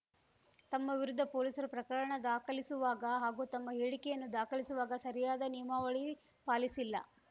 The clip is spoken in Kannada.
ತಮ್ಮ ವಿರುದ್ಧ ಪೊಲೀಸರು ಪ್ರಕರಣ ದಾಖಲಿಸುವಾಗ ಹಾಗೂ ತಮ್ಮ ಹೇಳಿಕೆಯನ್ನು ದಾಖಲಿಸುವಾಗ ಸರಿಯಾದ ನಿಯಮಾವಳಿ ಪಾಲಿಸಿಲ್ಲ